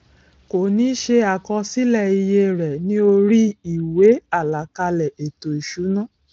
kò ní ṣe àkọsílẹ iye rẹ ní orí ìwé àlàkalẹ ètò ìsúná